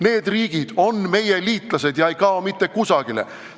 Need riigid on meie liitlased ja ei kao mitte kusagile.